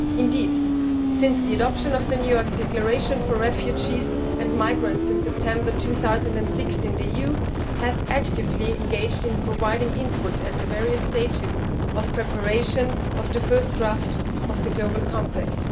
Indeed, since the adoption of the New York declaration for refugees and migrants in September 2016, the EU has actively engaged in providing input at the various stages of preparation of the first draft of the Global Compact.